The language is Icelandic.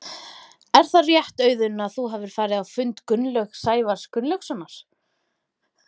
Er það rétt Auðun að þú hafir farið á fund Gunnlaugs Sævars Gunnlaugssonar?